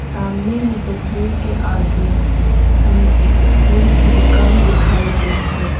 सामने ही तस्वीर के आगे हमें एक फूल की दुकान दिखाई गई हैं।